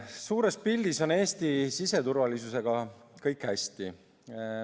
Suures pildis on Eesti siseturvalisusega kõik hästi.